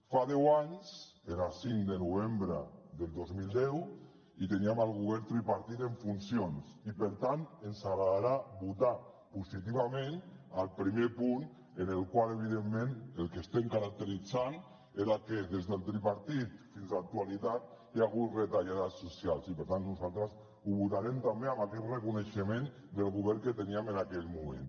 fa deu anys era cinc de novembre del dos mil deu i teníem el govern tripartit en funcions i per tant ens agradarà votar positivament al primer punt en el qual evidentment el que estem caracteritzant era que des del tripartit fins a l’actualitat hi ha hagut retallades socials i per tant nosaltres ho votarem també amb aquest reconeixement del govern que teníem en aquell moment